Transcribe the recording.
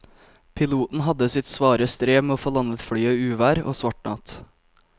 Piloten hadde sitt svare strev med å få landet flyet i uvær og svart natt.